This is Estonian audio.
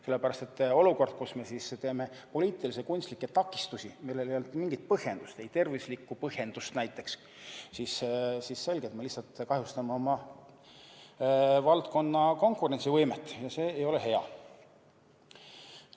Sellepärast et kui me teeme poliitilisi kunstlikke takistusi, millel ei ole mingit põhjendust, ei ole tervislikku põhjendus näiteks, siis on selge, et me lihtsalt kahjustame oma valdkonna konkurentsivõimet, ja see ei ole hea.